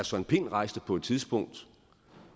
søren pind rejste på et tidspunkt